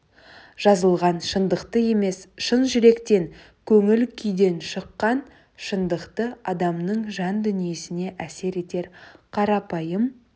жазылған шындықты емес шын жүректен көңіл күйден шыққан шындықты адамның жан дүниесіне әсер етер қарапайым